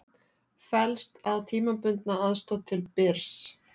Fellst á tímabundna aðstoð til Byrs